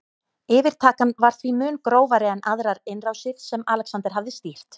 Yfirtakan var því mun grófari en aðrar innrásir sem Alexander hafði stýrt.